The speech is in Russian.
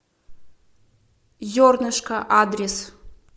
зернышко адрес